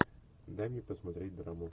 дай мне посмотреть драму